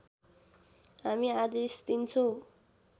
हामी आदेश दिन्छौँ